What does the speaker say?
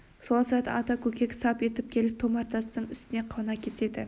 сол сәт ата көкек сап етіп келіп томар тастың үстіне қона кетеді